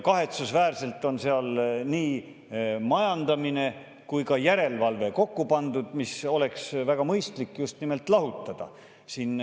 Kahetsusväärselt on seal nii majandamine kui ka järelevalve kokku pandud, mis oleks väga mõistlik just nimelt lahutada.